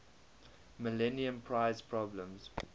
millennium prize problems